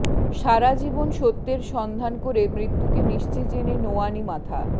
সারাজীবন সত্যের সন্ধান করে মৃত্যুকে নিশ্চিত জেনে নোয়াওনি মাথা